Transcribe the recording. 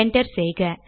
enter செய்க